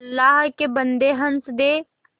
अल्लाह के बन्दे हंस दे